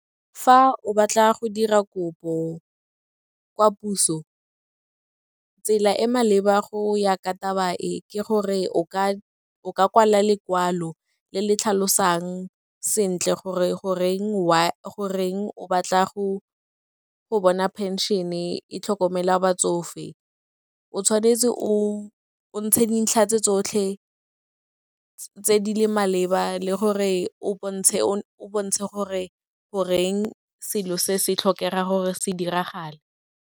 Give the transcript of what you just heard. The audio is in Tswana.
Fa o batla go dira kopo kwa puso, tsela e maleba go ya ka taba e, ke gore o ka kwala lekwalo le le tlhalosang sentle goreng o batla go bona phenšene e tlhokomela batsofe. O tshwanetse o ntshe dintlha tse tsotlhe tse di le maleba le gore o bontshe gore goreng selo se se tlhokega gore se diragale.